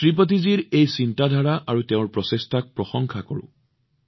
শ্ৰীপতিজীৰ এই চিন্তাধাৰা আৰু তেওঁৰ প্ৰচেষ্টাক মই প্ৰশংসা কৰো